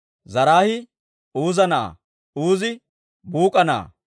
Zaraahii Uuza na'aa; Uuzi Buuk'a na'aa;